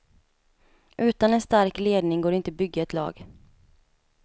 Utan en stark ledning går det inte bygga ett lag.